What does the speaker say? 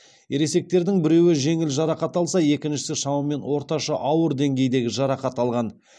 ересектердің біреуі жеңіл жарақат алса екіншісі шамамен орташа ауыр деңгейдегі жарақат алған